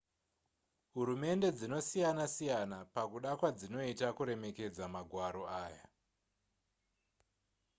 hurumende dzinosiyana-siyana pakuda kwadzinoita kuremekedza magwaro aya